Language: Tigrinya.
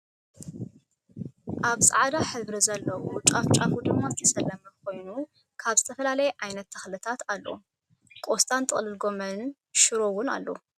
ኣበ ፃዕዳ ሕብሪ ዘለዎ ጫፍ ጫፉ ድማ ዝተሸለመ ኮየኑ ካብ ዝተፈላለየ ዓይነት ተክሊታት ኣሎ። ቆስጣን ጥቅልል ጎሞን ሽሮ እውን ኣሎ።